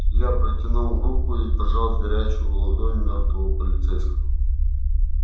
я протянул руку и пожал горячую ладонь мёртвого полицейского